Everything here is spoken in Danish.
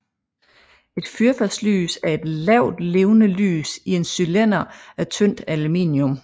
Et fyrfadslys er et lavt levende lys i en cylinder af tyndt aluminium